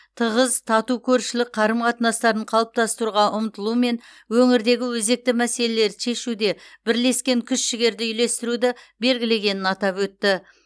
тығыз тату көршілік қарым қатынастарын қалыптастыруға ұмтылу мен өңірдегі өзекті мәселелерді шешуде бірлескен күш жігерді үйлестіруді белгілегенін атап өтті